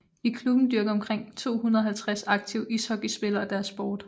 I klubben dyrker omkring 250 aktive ishockeyspillere deres sport